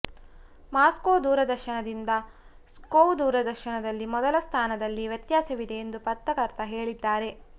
Moscow ದೂರದರ್ಶನದಿಂದ ಸ್ಕೋವ್ ದೂರದರ್ಶನದಲ್ಲಿ ಮೊದಲ ಸ್ಥಾನದಲ್ಲಿ ವ್ಯತ್ಯಾಸವಿದೆ ಎಂದು ಪತ್ರಕರ್ತ ಹೇಳುತ್ತಾರೆ